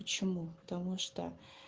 почему потому что